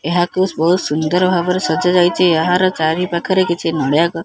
ଏହାକୁ ବହୁତ୍ ସୁନ୍ଦର ଭାବରେ ସଜା ଯାଇଚି ଏହାର ଚାରିପାଖରେ କିଛି ନଡିଆ ଗ --